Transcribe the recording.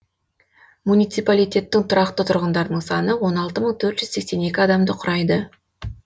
муниципалитеттің тұрақты тұрғындарының саны он алты мың төрт жүз сексен екі адамды құрайды